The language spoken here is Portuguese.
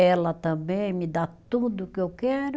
Ela também me dá tudo que eu quero.